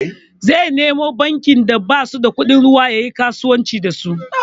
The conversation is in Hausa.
Zai nemo bankin da basu da kudin ruwa yayi kasuwanci da su.